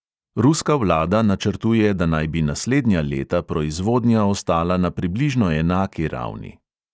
Ruska vlada načrtuje, da naj bi naslednja leta proizvodnja ostala na približno enaki ravni.